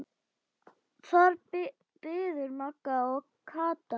Þar biðu Magga og Kata.